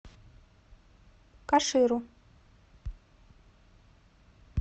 каширу